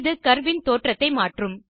இது கர்வ் இன் தோற்றத்தை மாற்றும்